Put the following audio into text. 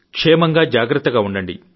క్షేమంగా జాగ్రత్తగా ఉండండి